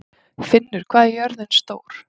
Finnur, hvað er jörðin stór?